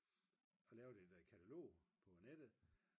og lavede et katalog på nettet